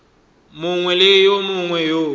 mongwe le yo mongwe yo